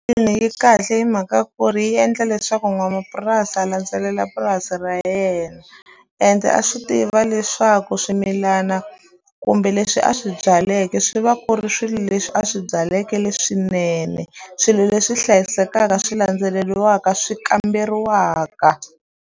Ina yi kahle hi mhaka ku ri yi endla leswaku n'wamapurasi a landzelela purasi ra yena ende a swi tiva leswaku swimilana kumbe leswi a swi byaleke swi va ku ri swilo leswi a swi byaleke leswinene swilo leswi hlayisekaka swi landzeleliwaka swi kamberiwaka.